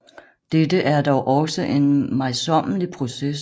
Dette er dog også en møjsommelig proces